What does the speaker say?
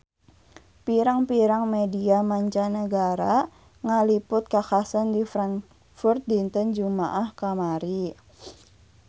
Pirang-pirang media mancanagara ngaliput kakhasan di Frankfurt dinten Jumaah kamari